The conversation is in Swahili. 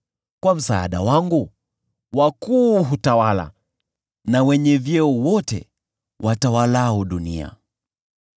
kwa msaada wangu wakuu hutawala, na wenye vyeo wote watawalao dunia.